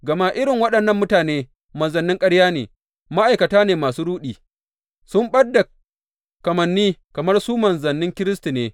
Gama irin waɗannan mutane manzannin ƙarya ne, ma’aikata ne masu ruɗi, sun ɓad da kamanni kamar su manzannin Kiristi ne.